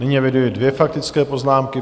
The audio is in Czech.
Nyní eviduji dvě faktické poznámky.